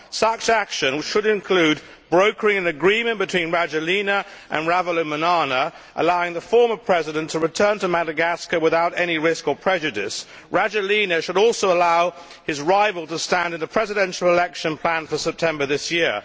Such action should include brokering an agreement between Rajoelina and Ravalomanana, allowing the former president to return to Madagascar without any risk or prejudice. Rajoelina should also allow his rival to stand in the presidential election planned for September this year.